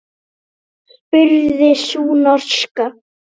spurði sú norska.